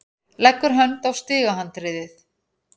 Leggur hönd á stigahandriðið.